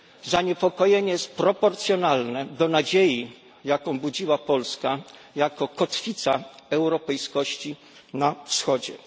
Zaniepokojenie jest proporcjonalne do nadziei, jaką budziła Polska jako kotwica europejskości na wschodzie.